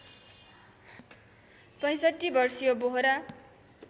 ६५ वर्षीय बोहरा